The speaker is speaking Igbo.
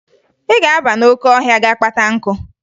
Ị ga-aba n'oke ọhịa ga-kpata nkụ!